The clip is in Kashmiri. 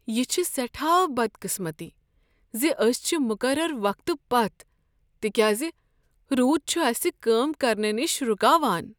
یہ چھےٚ سیٹھاہ بدقسمتی ز أسۍ چھ مقرر وقتہٕ پتھ تکیاز رود چھ اسہ کٲم کرنہٕ نش رکاوان۔